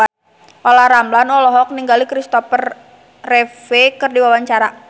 Olla Ramlan olohok ningali Christopher Reeve keur diwawancara